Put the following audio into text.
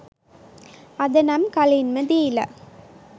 අද නම් කලින්ම දිලා